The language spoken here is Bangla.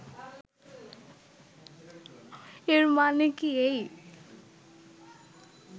এর মানে কি এই